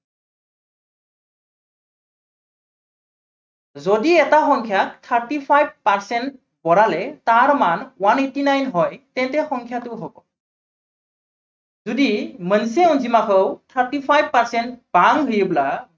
যদি এটা সংখ্য়াত thirty five percent বঢ়ালে তাৰ মান one eighty nine হয়, তেন্তে সংখ্য়াটো হব যদি thirty five percent